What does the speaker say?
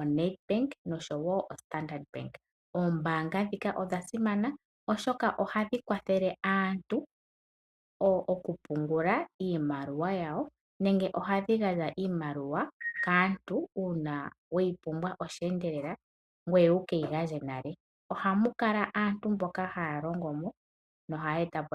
,oNedbank nosho wo o Standard Bank, oombanga dhika odha simana oshoka ohadhi kwathele aantu oku pungula iimaliwa yawo nenge ohadhigandja iimaliwa kaantu una weyipumbwa oshendelela ngweye wukeyigandje nale ohamukala aantu mboka halongomo noha yetapo .